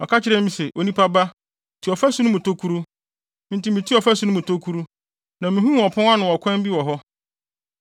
Ɔka kyerɛɛ me se, “Onipa ba, tu ɔfasu no mu tokuru.” Enti mituu ɔfasu no mu tokuru, na mihuu ɔpon ano kwan bi wɔ hɔ.